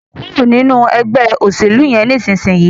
kúrò nínú Ẹgbẹ́ òṣèlú yén nísìsiyìí!